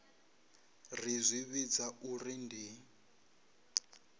ri zwi vhidza uri ndi